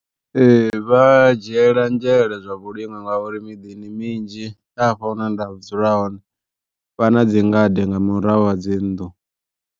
Ee vha dzhiela nzhele zwa vhulimi ngauri miḓini minzhi afha hune nda dzula hone, vha na dzi ngade nga murahu ha dzi nnḓu.